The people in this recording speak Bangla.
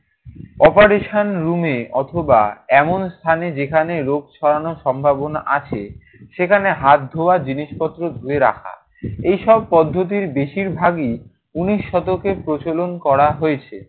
operation room এ অথবা এমন স্থানে যেখানে রোগ ছড়ানোর সম্ভাবনা আছে সেখানে হাত ধোয়ার জিনিসপত্র ধুয়ে রাখা। এইসব পদ্ধতির বেশিরভাগই উনিশ শতকে প্রচলন করা হয়েছে।